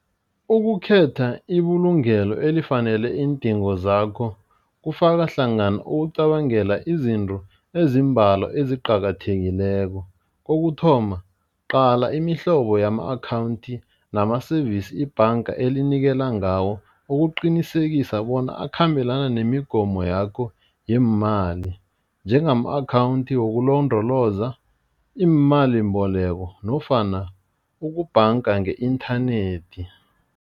Ukukhetha ibulungelo elifanele iindingo zakho kufaka hlangana ukucabangela izinto ezimbalwa eziqakathekileko, kokuthoma uqala imihlobo yama-akhawundi nama-service ibhanga elinikela ngawo ukuqinisekisa bona akhambelana nemigomo yakho yeemali njengama-akhawundi wokulondoloza iimalimboleko nofana ukubhanga nge-inthanethi.